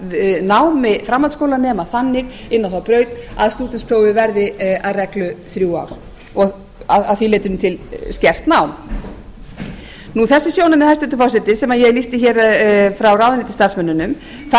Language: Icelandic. stýra námi framhaldsskólanema þannig inn á þá braut að stúdentsprófið verði að reglu í þrjú ár og að því leytinu til skert nám þessi sjónarmið hæstvirtur forseti sem ég lýsti hér frá ráðuneytisstarfsmönnunum þær endurspegla